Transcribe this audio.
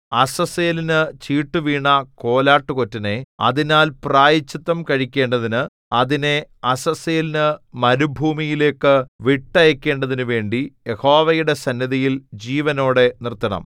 അസസ്സേലിനു ചീട്ടു വീണ കോലാട്ടുകൊറ്റനെ അതിനാൽ പ്രായശ്ചിത്തം കഴിക്കേണ്ടതിന് അതിനെ അസസ്സേലിനു മരുഭൂമിയിലേക്ക് വിട്ടയയ്ക്കേണ്ടതിനുമായി യഹോവയുടെ സന്നിധിയിൽ ജീവനോടെ നിർത്തണം